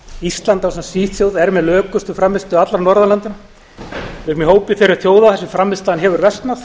ísland ásamt svíþjóð er með lökustu frammistöðu allra norðurlandanna við erum í hópi þeirra þjóða þar sem frammistaðan hefur versnað